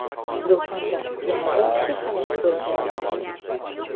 Do‘konda yana bir kishi halok bo‘lgani ma’lum.